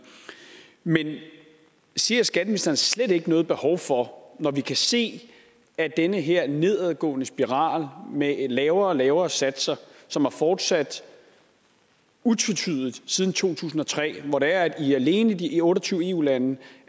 men ser skatteministeren slet ikke noget behov for når vi kan se at den her nedadgående spiral med lavere og lavere satser som er fortsat utvetydigt siden to tusind og tre hvor alene i de otte og tyve eu lande